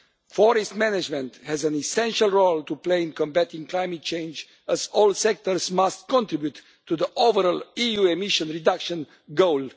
Forest management has an essential role to play in combating climate change, as all sectors must contribute to the overall EU emission reduction goal.